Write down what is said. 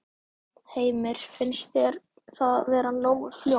Heimir: Finnst þér það vera nógu fljótt?